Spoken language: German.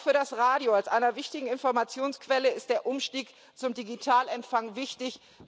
Auch für das Radio als einer wichtigen Informationsquelle ist der Umstieg zum Digitalempfang wichtig.